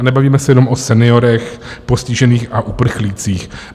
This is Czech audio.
A nebavíme se jenom o seniorech, postižených a uprchlících.